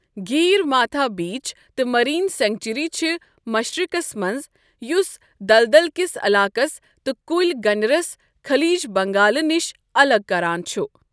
Gahirmatha beach تہٕ marine sanctuary چھِ مَشرِقَس مَنٛز، یُس دَلدَل کِس عَلاقَس تہٕ كُلۍ گنِرس خٔلیٖج بَنٛگالَہٕ نِشہِ الگ كران چُھ۔